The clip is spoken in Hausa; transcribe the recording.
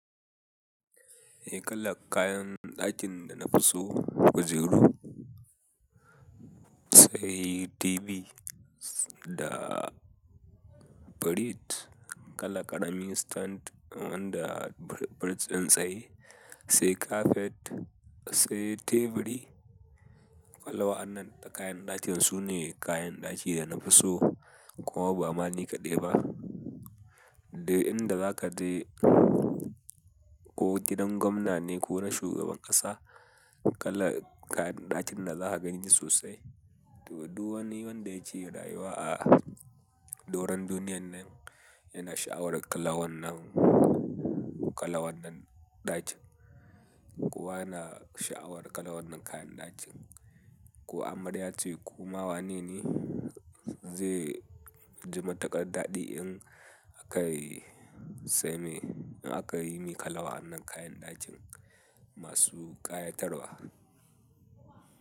Eh kalar kayan ɗakin da nafi so, kujeru, sai TV da firij, kalar ƙarami stand da firjin tsaye, sai kafet, sai teburi. Kalar wa'annan kayan ɗakin sune kayan ɗaki da nafi so kuma ba ma ni kaɗai ba. Duk inda zaka je ko gidan gwamna ne ko na shugaban ƙasa kalar kayan ɗakin da zaka gani sosai. To, duk wani wanda yake rayuwa a doron duniyyan nan yana sha'awar kalar wannan, kalar wannan ɗakin. Kowa yana sha'awar kalar wannan kayan ɗakin. Ko amarya ce ko ma wanene zai ji matuƙar daɗi in aka yi, sai mai, in aka yi mai kalar wa'annan kayan ɗakin masu ƙayatarwa.